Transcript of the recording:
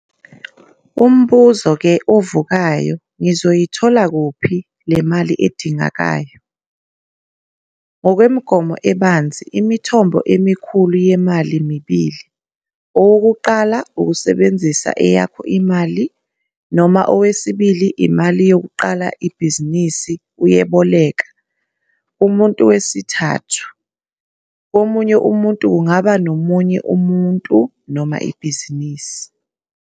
Umbuzo ke ovukayo, ngizoyithola kuphi le mali edingekayo? Ngokwemigomo ebanzi imithombo emikhulu yemali mibili. Owokuqala - usebenzisa eyakho imali, noma owesibili imali yokuqala ibhizinisi uyeboleka, kumuntu wesithathu, komunye umuntu - kungaba ngomunye umuntu noma ibhizinisi.